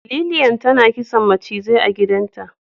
Lilian tana kisan mucizai a gidanta.